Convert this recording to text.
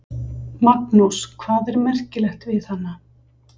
Magnús: Hvað er merkilegt við hana?